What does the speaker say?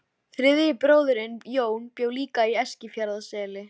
Þriðji bróðirinn, Jón, bjó líka í Eskifjarðarseli.